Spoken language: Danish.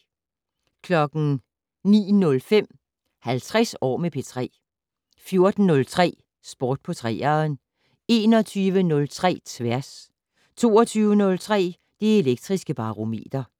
09:05: 50 år med P3 14:03: Sport på 3'eren 21:03: Tværs 22:03: Det Elektriske Barometer